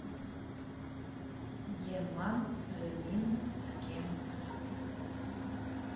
еманжелинске